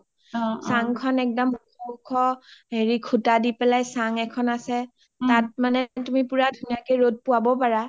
চাং খন একদম উখ উখ খুটা দি পেলাই চাং এখন আছে তাত মানে তুমি ধুনীয়াকে ৰ’দ পোৱাব পাৰা